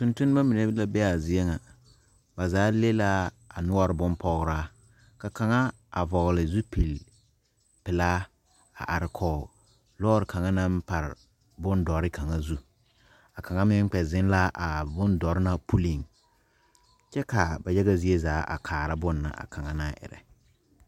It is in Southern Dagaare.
Tontonma mine la be a zie ŋa ,ba zaa le la a noɔre bonpɔgra ka kaŋa vɔgle zupele pelaa a are kɔge lɔre kaŋa naŋ pare bondɔre kaŋa zu ,a kaŋa meŋ kpɛ zeŋ la a bondɔre na puli kyɛ ka ba yaga zie zaa kaara bonne na a kaŋa naŋ erɛ.